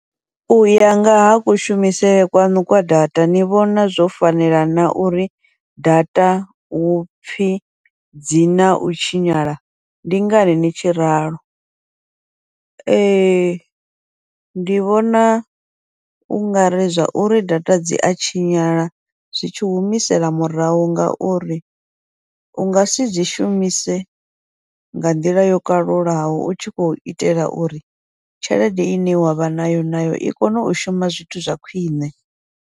Uya ngaha kushumisele kwaṋu kwa data ni vhona zwo fanela na uri data hupfhi dzi nau tshinyala ndi ngani ni tshi ralo, ee ndi vhona ungari zwa uri data dzi a tshinyala zwi tshi humisela murahu, ngauri u ngasi dzi shumise nga nḓila yo kalulaho u tshi khou itela uri tshelede ine wavha nayo, nayo i kone u shuma zwithu zwa khwiṋe.